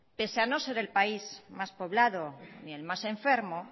pese a no ser el país más poblado ni el más enfermo